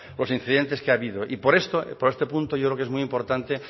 los incidentes que ha habido y por esto por este punto yo creo que es muy importante